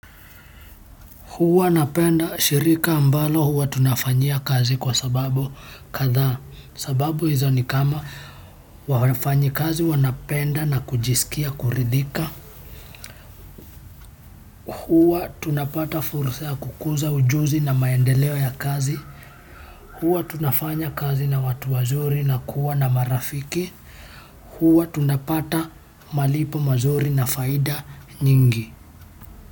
Huwa napenda shirika ambalo huwa tunafanyia kazi kwa sababu kadhaa sababu hizo ni kama wafanyi kazi wanapenda na kujisikia kuridhika. Huwa tunapata fursa ya kukuza ujuzi na maendeleo ya kazi. Huwa tunafanya kazi na watu wazuri na kuwa na marafiki. Huwa tunapata malipo mazuri na faida nyingi.